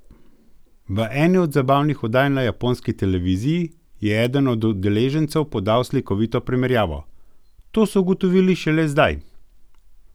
V eni od zabavnih oddaj na japonski televiziji je eden od udeležencev podal slikovito primerjavo: 'To so ugotovili šele zdaj?